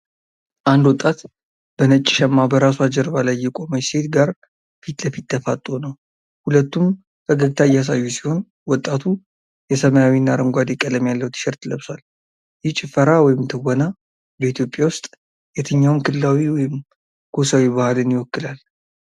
ንድ ወጣት በነጭ ሸማ በራሷ ጀርባ ላይ የቆመች ሴት ጋር ፊት ለፊት ተፋጥጦ ነው። ሁለቱም ፈገግታ እያሳዩ ሲሆን፣ ወጣቱ የሰማያዊና አረንጓዴ ቀለም ያለው ቲሸርት ለብሷል። ይህ ጭፈራ ወይም ትወና በኢትዮጵያ ውስጥ የትኛውን ክልላዊ ወይም ጎሳዊ ባህልን ይወክላል?